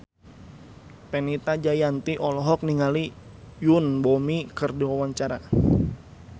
Fenita Jayanti olohok ningali Yoon Bomi keur diwawancara